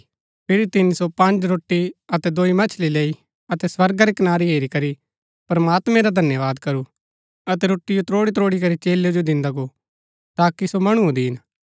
फिरी तिनी सो पँज रोटी अतै दोई मच्छी लैई अतै स्वर्गा री कनारी हेरी करी प्रमात्मैं रा धन्यवाद करू अतै रोटीयो त्रोड़ीत्रोड़ी करी चेलै जो दिन्दा गो ताकि सो मणुओ दीन